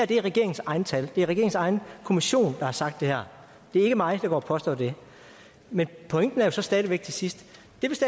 det er regeringens egne tal det er regeringens egen kommission der har sagt det her det er ikke mig der går og påstår det men pointen er jo så stadig væk til sidst